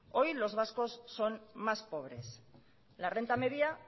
hoy los vascos son más pobres la renta media